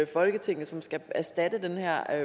folketinget som skal erstatte den her